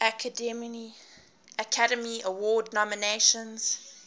academy award nominations